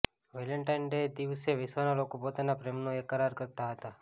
Valentine દિવસે વિશ્વના લોકો પોતાના પ્રેમનો એકરાર કરતા હોય છે